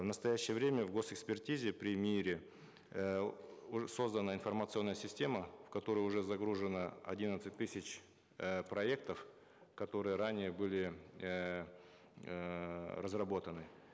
в настоящее время в гос экспертизе при миир е э создана информационная система в которую уже загружено одиннадцать тысяч э проектов которые ранее были эээ разработаны